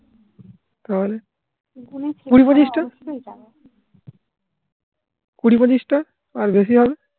তাহলে? কুড়ি পঁচিশটা. কুড়ি পঁচিশটা? আর বেশি হবে?